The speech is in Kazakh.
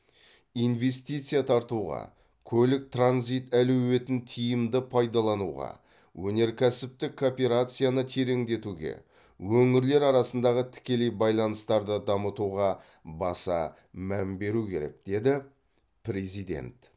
инвестиция тартуға көлік транзит әлеуетін тиімді пайдалануға өнеркәсіптік кооперацияны тереңдетуге өңірлер арасындағы тікелей байланыстарды дамытуға баса мән беру керек деді президент